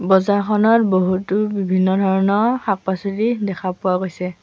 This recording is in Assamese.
বজাৰখনত বহুতো বিভিন্ন ধৰণৰ শাক পাছলি দেখা পোৱা গৈছে।